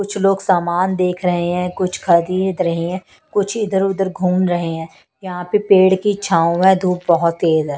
कुछ लोग सामान देख रहे हैं कुछ खरीद रहे हैं कुछ इधर-उधर घूम रहे हैं यहां पे पेड़ की छाऊ है धूप बहुत तेज है.